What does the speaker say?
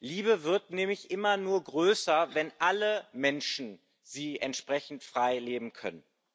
Liebe wird nämlich immer nur größer, wenn alle Menschen sie entsprechend frei leben können.